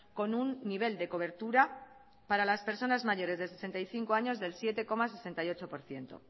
con un nivel de cobertura para las personas mayores de sesenta y cinco años del siete coma sesenta y ocho por ciento